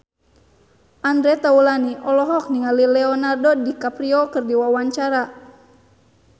Andre Taulany olohok ningali Leonardo DiCaprio keur diwawancara